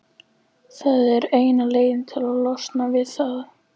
Það er eina leiðin til að losna við það.